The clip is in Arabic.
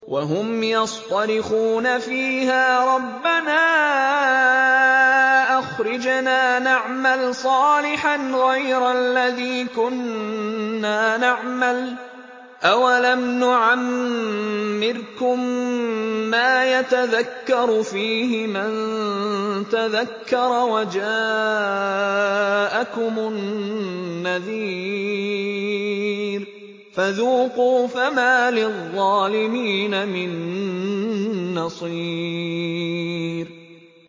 وَهُمْ يَصْطَرِخُونَ فِيهَا رَبَّنَا أَخْرِجْنَا نَعْمَلْ صَالِحًا غَيْرَ الَّذِي كُنَّا نَعْمَلُ ۚ أَوَلَمْ نُعَمِّرْكُم مَّا يَتَذَكَّرُ فِيهِ مَن تَذَكَّرَ وَجَاءَكُمُ النَّذِيرُ ۖ فَذُوقُوا فَمَا لِلظَّالِمِينَ مِن نَّصِيرٍ